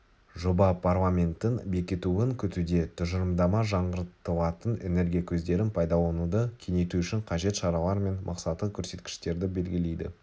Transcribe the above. жоба парламенттің бекітуін күтуде тұжырымдама жаңғыртылатын энергия көздерін пайдалануды кеңейту үшін қажет шаралар мен мақсаттық көрсеткіштерді белгілейді